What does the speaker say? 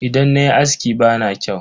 Idan nayi aski bana kyau.